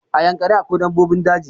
A yankari akwai dabbobin daji